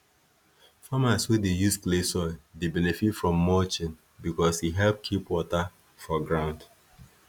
farmers wey dey use clay soil dey benefit from mulching because e help keep water for ground